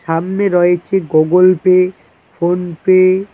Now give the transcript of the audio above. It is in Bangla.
সামনে রয়েছে গোগোল পে ফোন পে ।